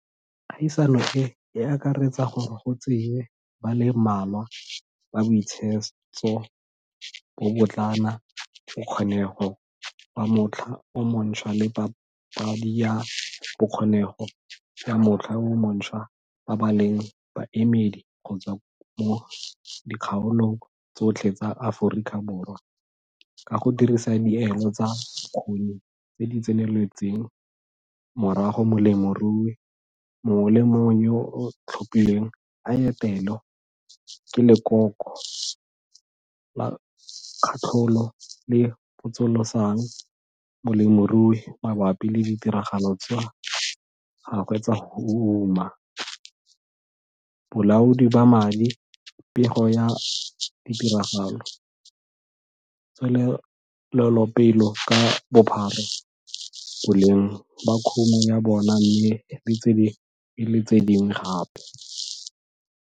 Kgaisano e e akaretsa gore go tseiwe ba le mmalwa ba Boitshetso, Bobotlana, Bokgonego ba Motlha o Montshwa le Papadi ya Bokgonego ya Motlha o Montshwa ba ba leng baemedi go tswa mo dikgaolong tsotlhe tsa Aforikaborwa ka go dirisa dielo tsa bokgoni tse di tseneletseng, morago molemirui mongwe le mongwe yo o tlhophilweng a etelwe ke lekoko la katlholo le le potsolosang molemirui mabapi le ditiragalo tsa gagwe tsa go uma, bolaodi ba madi, pego ya ditiragalo, tswelelopele ka bophara, boleng ba kumo ya bona mme le tse dingwe le tse dingwe gape.